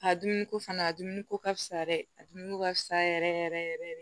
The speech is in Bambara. A dumuniko fana a dumuni ko ka fisa dɛ a dun ko ka fisa yɛrɛ yɛrɛ yɛrɛ yɛrɛ yɛrɛ